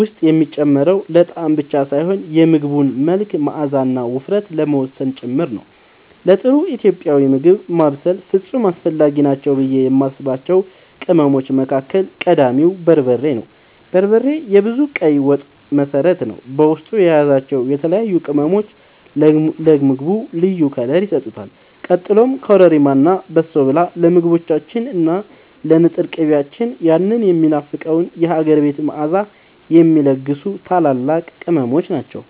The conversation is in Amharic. ውስጥ የሚጨመረው ለጣዕም ብቻ ሳይሆን የምግቡን መልክ፣ መዓዛና ውፍረት ለመወሰን ጭምር ነው። ለጥሩ ኢትዮጵያዊ ምግብ ማብሰል ፍጹም አስፈላጊ ናቸው ብዬ የማስባቸው ቅመሞች መካከል ቀዳሚው በርበሬ ነው። በርበሬ የብዙ ቀይ ወጦች መሠረት ሲሆን፣ በውስጡ የያዛቸው የተለያዩ ቅመሞች ለምግቡ ልዩ ክብር ይሰጡታል። ቀጥሎም ኮረሪማ እና በሶብላ ለምግቦቻችን እና ለንጥር ቅቤያችን ያንን የሚናፈቀውን የሀገር ቤት መዓዛ የሚለግሱ ታላላቅ ቅመሞች ናቸው።